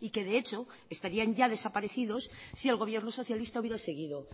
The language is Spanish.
y que de hecho estarían ya desaparecidos si el gobierno socialista hubiera seguido